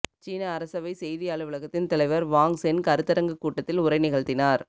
சீன அரசவை செய்தி அலுவலகத்தின் தலைவர் வாங் சென் கருத்தரங்குக் கூட்டத்தில் உரை நிகழ்த்தினார்